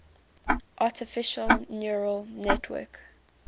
artificial neural network